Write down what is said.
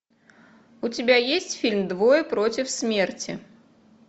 у тебя есть фильм двое против смерти